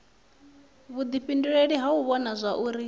vhuifhinduleli ha u vhona zwauri